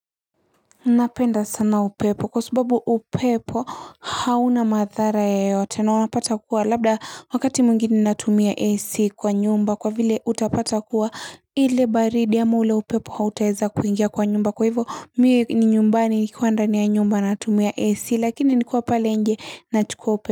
Napenda sana upepo kwa subabu upepo hauna madhara yeyote na unapata kuwa labda wakati mwingine natumia AC kwa nyumba kwa vile utapata kuwa ile baridi ama ule upepo hautaweza kuingia kwa nyumba kwa hivyo mimi ni nyumbani nikiwa ndani ya nyumba natumia AC lakini nikiwa pale nje nachukua upepo.